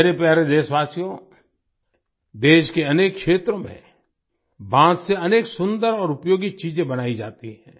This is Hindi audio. मेरे प्यारे देशवासियो देश के अनेक क्षेत्र में बांस से अनेक सुन्दर और उपयोगी चीजें बनाई जाती हैं